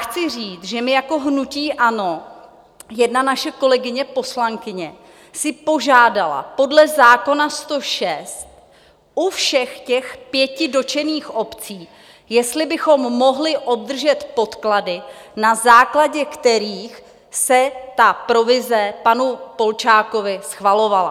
Chci říct, že my jako hnutí ANO - jedna naše kolegyně poslankyně si požádala podle zákona 106 u všech těch pěti dotčených obcí, jestli bychom mohli obdržet podklady, na základě kterých se ta provize panu Polčákovi schvalovala.